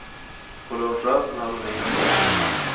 På lunchrasten hade hon ingen att vara med.